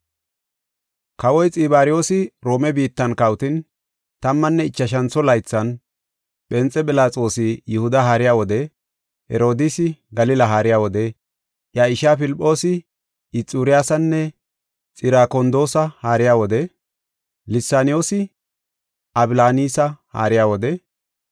Kawoy Xibaryoosi Roome biittan kawotin, tammanne ichashantho laythan, Phenxe Philaxoosi Yihuda haariya wode, Herodiisi Galila haariya wode, iya ishaa Filphoosi Ixuuriyasanne Xirakondoosa haariya wode, Lisaniyoosi Ablaanisa haariya wode,